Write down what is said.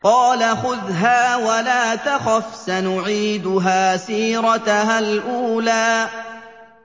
قَالَ خُذْهَا وَلَا تَخَفْ ۖ سَنُعِيدُهَا سِيرَتَهَا الْأُولَىٰ